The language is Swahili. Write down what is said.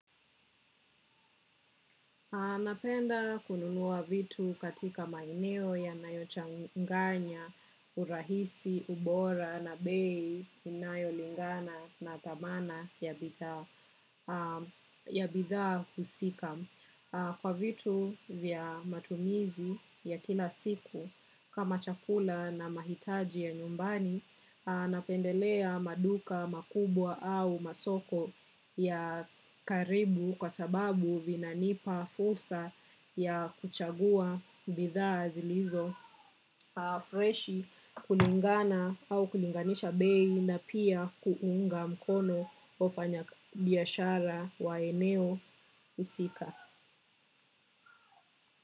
Napenda kununua vitu katika maeneo ya nayochanganya, urahisi, ubora na bei, inayo lingana na thamana ya bidhaa husika. Kwa vitu vya matumizi ya kila siku kama chakula na mahitaji ya nyumbani, napendelea maduka makubwa au masoko ya karibu kwa sababu vinanipa fursa ya kuchagua bidhaa zilizo. Freshi kulingana au kuninganisha bei na pia kuunga mkono ofanya biashara wa eneo husika.